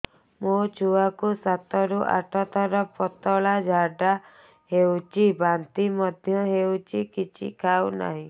ମୋ ଛୁଆ କୁ ସାତ ରୁ ଆଠ ଥର ପତଳା ଝାଡା ହେଉଛି ବାନ୍ତି ମଧ୍ୟ୍ୟ ହେଉଛି କିଛି ଖାଉ ନାହିଁ